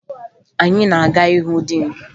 Anyị na-aga ịhụ diin